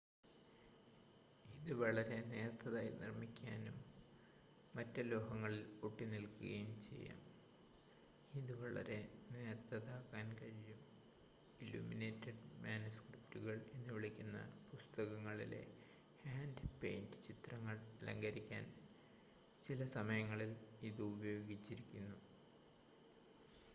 "ഇത് വളരെ നേർത്തതായി നിർമ്മിക്കാനാകും മറ്റ് ലോഹങ്ങളിൽ ഒട്ടിനിൽക്കുകയും ചെയ്യാം. ഇത് വളരെ നേർത്തതാക്കാൻ കഴിയും "ഇല്ലുമിനേറ്റഡ് മാനുസ്ക്രിപ്റ്റുകൾ" എന്നുവിളിക്കുന്ന പുസ്തകങ്ങളിലെ ഹാൻഡ്-പെയിന്റഡ് ചിത്രങ്ങൾ അലങ്കരിക്കാൻ ചില സമയങ്ങളിൽ ഇത് ഉപയോഗിച്ചിരുന്നു.